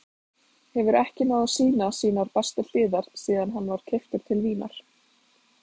Hefur ekki náð að sýna sínar bestu hliðar síðan hann var keyptur til Vínar.